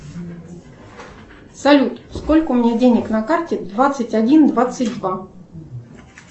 салют сколько у меня денег на карте двадцать один двадцать два